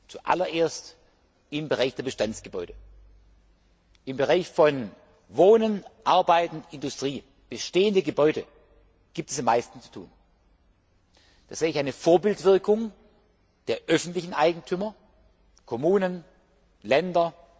an? Zuallererst im Bereich der Bestandsgebäude. Im Bereich von Wohnen, Arbeiten, Industrie, der bestehenden Gebäude gibt es am meisten zu tun. Da sehe ich eine Vorbildwirkung der öffentlichen Eigentümer Kommunen, Länder.